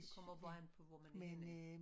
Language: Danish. Det kommer bare an på hvor man er